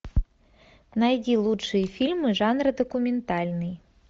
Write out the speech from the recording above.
найди лучшие фильмы жанра документальный